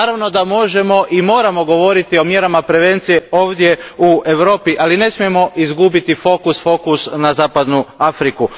Naravno da možemo i moramo govoriti i o mjerama prevencije i ovdje u Europi, ali ne smijemo izgubiti fokus na zapadnu Afriku.